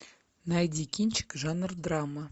найди кинчик жанр драма